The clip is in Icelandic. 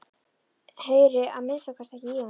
Heyri að minnsta kosti ekki í honum.